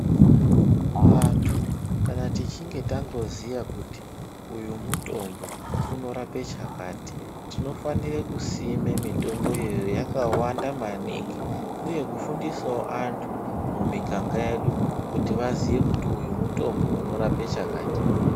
Vantu kana tichinge tangoziya kuti uyu mutombo unorape chakati tinofanire kusima mitomboyo yakawanda maningi uye kufundisawo antu mumiganga yedu kuti vaziye kuti uyu mutombo unorape chakati.